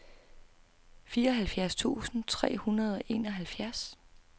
fireoghalvfjerds tusind tre hundrede og enoghalvfjerds